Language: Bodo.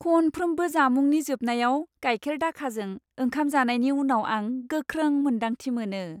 खनफ्रोमबो जामुंनि जोबनायाव गाइखेर दाखाजों ओंखाम जानायनि उनाव आं गोख्रों मोन्दांथि मोनो।